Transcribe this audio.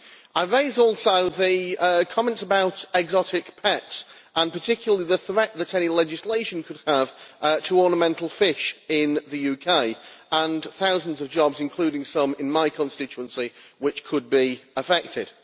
I raise also comments about exotic pets, and particularly the threat that any legislation could have to ornamental fish in the UK, and to thousands of jobs, including some in my constituency which could be affected.